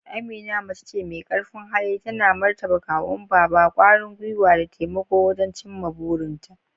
Amina mace ce mai karfin hali, tana martaba kawun Baba, kwarin gwiwa da taimako wajen cimma burinta.